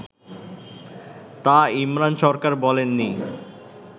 তা ইমরান সরকার বলেন নি